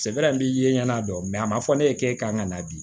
ye ɲɛna dɔn mɛ a ma fɔ ne ye k'e kan ka na bi